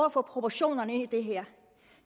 at få proportioner i det her